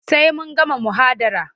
Sai sun gama muhadara.